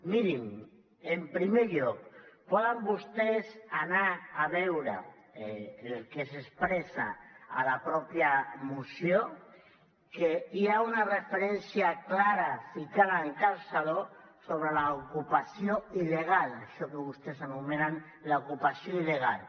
mirin en primer lloc poden vostès anar a veure el que s’expressa a la mateixa moció que hi ha una referència clara ficada amb calçador sobre l’ocupació il·legal això que vostès anomenen l’ ocupació il·legal